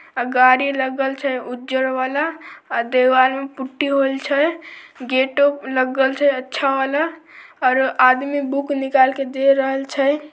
अ गाड़ी लगल छै ऊजर वला अ दीवाल में पुट्टी होइल छै गेटो लगल छै अच्छा वला आरो आदमी बुक निकाल के दे रहल छै।